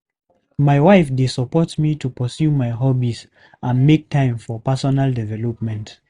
My wife dey support me to pursue my hobbies and make time for personal development.